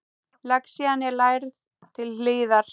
Lexían er lærð til hlítar.